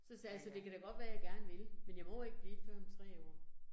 Så sagde jeg så, det kan da godt være jeg gerne vil, men jeg må ikke blive det før om 3 år